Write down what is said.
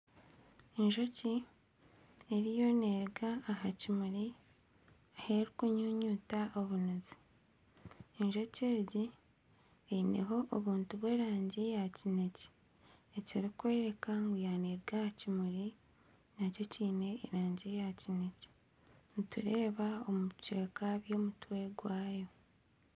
Enjoki eriyo neruga aha kimuri ahu erikunyuyuta obunuzi enjoki egi eineho obuntu bw'erangi eya kinekye ekirikworeka ngu yaaba n'eruga aha kimuri nakyo kiine erangi ya kinekye nitureeba ebicweka by'omutwe gwaayo.